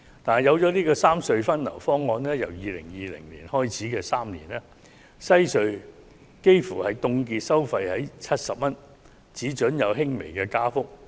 但是，推行三隧分流方案後，由2020年開始的3年內，西隧的收費幾乎會凍結在70元的水平，只准作出輕微加幅。